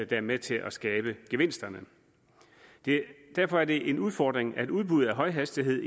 der er med til at skabe gevinsterne derfor er det en udfordring at udbuddet af højhastighed